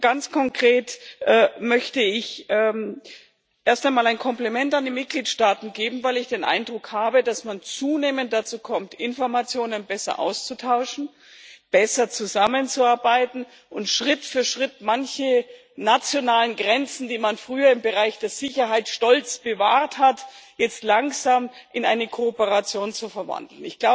Ganz konkret möchte ich erst einmal ein Kompliment an die Mitgliedstaaten abgeben, weil ich den Eindruck habe, dass man zunehmend dazu kommt, Informationen besser auszutauschen, besser zusammenzuarbeiten und Schritt für Schritt manche nationalen Grenzen, die man früher im Bereich der Sicherheit stolz bewahrt hat, jetzt langsam in eine Kooperation zu verwandeln.